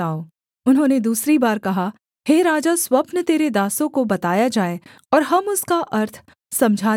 उन्होंने दूसरी बार कहा हे राजा स्वप्न तेरे दासों को बताया जाए और हम उसका अर्थ समझा देंगे